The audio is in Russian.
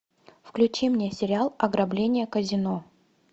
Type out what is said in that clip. включи мне сериал ограбление казино